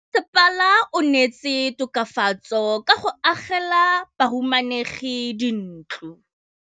Mmasepala o neetse tokafatsô ka go agela bahumanegi dintlo.